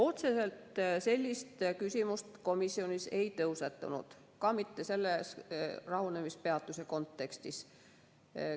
Otseselt sellist küsimust komisjonis ei tõusetunud, ka mitte rahunemispeatuse kontekstis.